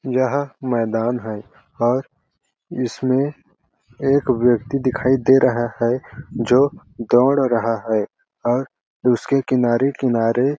यह मैदान है और इसमें एक व्यक्ति दिखाई दे रहा है जो दौड़ रहा है और उसके किनारे-किनारे--